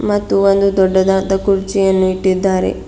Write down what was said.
ಮತ್ತು ಒಂದು ದೊಡ್ಡದಾದ ಕುರ್ಚಿಯನ್ನು ಇಟ್ಟಿದ್ದಾರೆ.